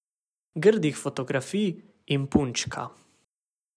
Grdih fotografij in punčka.